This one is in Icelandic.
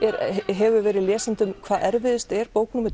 hefur verið lesendum hvað erfiðust er bók númer